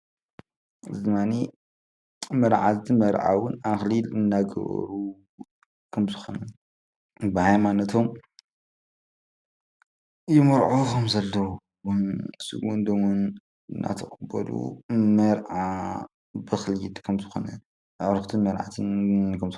እዚ ድማ መርዓትን መርዓዊን ኣክሊል እንዳገበሩ ከም ዝኮኑ ብሃይማነቶም ይምርዓዉ ከም ዘለዉ ስግኡን ደሙን መርዓ ዝከየድ ከም ዝኮነ ኣዑሩኽትን መርዒን።